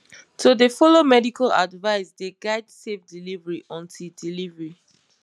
to dey follow medical advice dey guide safe delivery until delivery